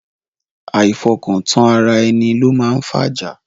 Àìfọkọ̀tán ara ẹni ló máa ń fájá.